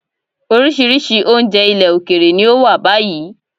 Oríṣiríṣi oúnjẹ ilẹ̀ òkèèrè ni ó wà báyìí.